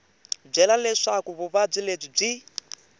byele leswaku vuvabyi lebyi byi